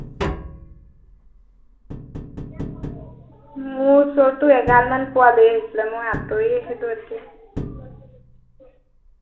মোৰ ওচৰতো এগাল পোৱালি আহিছিলে, মই আঁতৰি আহিলো এতিয়া।